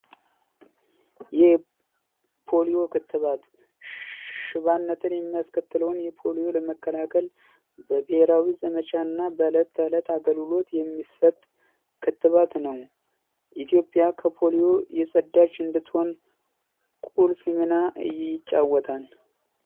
የፖሊዮ ክትባት ሽባነትን የሚያስከትለውን ሁሉ ለመከላከል በብሄራዊ ዘመቻ እና በዕለት ተዕለት አገልግሎት የሚሰጥ ክትባት ነው። ኢትዮጵያ ከፖሊዮ የጸዳች እንድትኾን ቁልፍ ሚና ይጫወታል።